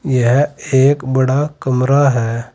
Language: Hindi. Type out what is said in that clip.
यह एक बड़ा कमरा है।